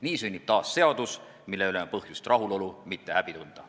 Nii sünnib taas seadus, mille üle on põhjust rahulolu, mitte häbi tunda.